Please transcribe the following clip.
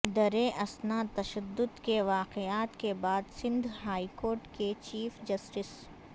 دریں اثنا تشد د کے واقعات کے بعد سندھ ہائی کورٹ کے چیف جسٹس